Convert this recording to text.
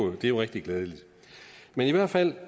er jo rigtig glædeligt men i hvert fald